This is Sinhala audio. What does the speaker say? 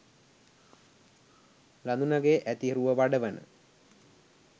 ළදුනගෙ ඇති රුව වඩවන